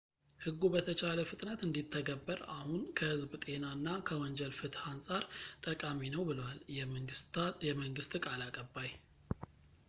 "ሕጉ በተቻለ ፍጥነት እንዲተገበር አሁን ከህዝብ ጤና እና ከወንጀል ፍትህ አንፃር ጠቃሚ ነው ብለዋል የመንግሥት ቃል አቀባይ፡፡